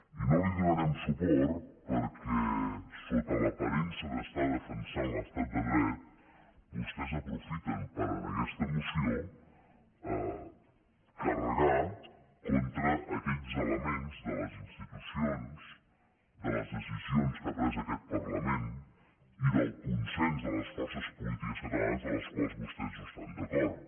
i no hi donarem suport perquè sota l’aparença d’estar defensant l’estat de dret vostès aprofiten per en aquesta moció carregar contra aquells elements de les institucions de les decisions que ha pres aquest parlament i del consens de les forces polítiques catalanes amb els quals vostès no estan d’acord